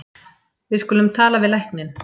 Við skulum tala við lækninn.